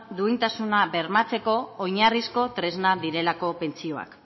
duintasuna bermatzeko oinarrizko tresna direlako pentsioak